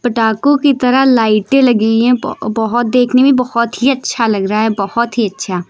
पटाखो की तरह लाइटे लगी है ब बहोत देखने में बहोत ही अच्छा लग रहा है बहोत ही अच्छा--